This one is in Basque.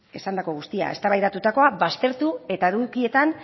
esandako guztia eztabaidatutakoa baztertu eta edukietan